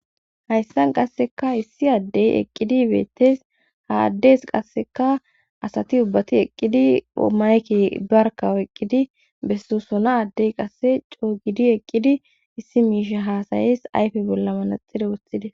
Hayssan qasseka issi addey eqqidi beettes ha addeys qasseka asati ubbati eqqidi omayki darkawo eqqidi besso sona addey qasse coo gidi eqqidi issi miisha haasayes ayfe bolla manaxire wothide